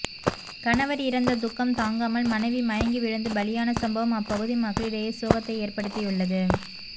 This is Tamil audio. கணவர் இறந்த துக்கம் தாங்காமல் மனைவி மயங்கி விழுந்து பலியான சம்பவம் அப்பகுதி மக்களிடையே சோகத்தை ஏற்படுத்தியுள்ளது